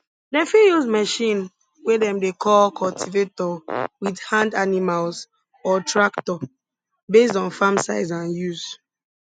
dem fit use machine we dem dey call cultivator wit hand animals or tractor based on farm size and use